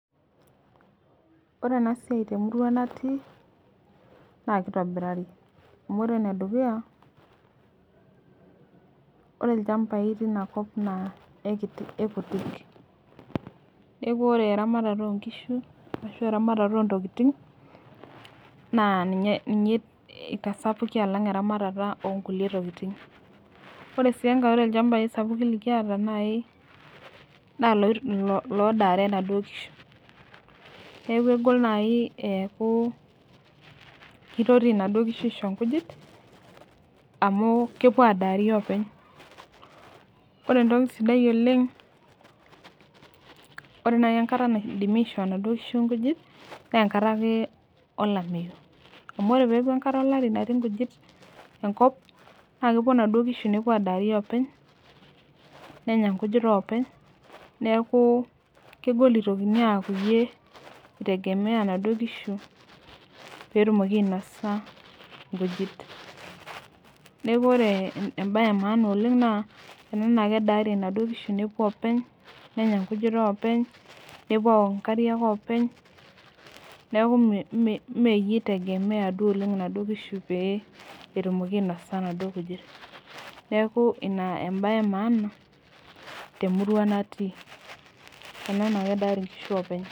Ore enasiai temurua natii naakeitobirari. Amu ore enedukuya ore ilchambai tinakop naa eikiti eikutik, neaku ore eramatare oonkishu ashu eramatare ontokitin naa ninye ninye eitasapuki alang' eramatata oonkulie tokitin. Ore sii engai ore ilchambai sapukin likiata nai naa loit lodaare naduo kishu neaku egol nai eaku keitoti naduo kishu aisho nkujit amu kepuo adaari openy. Ore entoki sidai oleng' ore nai enkata naidimi aishoo naduo kishu inkujit neenkatakee olameyu, amu ore peaku enkata olari natii nkujit enkop naakepuo naduo kishu nepuo aadari openy, nenya nkujit oopeny neakuu kegol eitokini aaku iyie eitegemea naduo kishu peetumoki ainosa nkujit neaku ore embaye emaana oleng' naa ena naakedaari naduo kishu nepuoopeny nenya nkujit oopeny, nepuo aok inkariak openy, neaku mmh meiye eitegemea duo oleng' naduo kishu pee etumoki ainosa naduo kujit. Neaku ina embaye emaana temurua natii ena naakedaari nkishu openy.